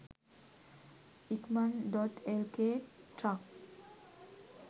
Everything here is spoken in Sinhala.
ikman.lk truck